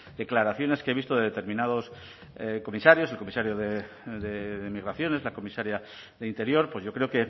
declaraciones que he visto de determinados comisarios el comisario de migraciones la comisaria de interior pues yo creo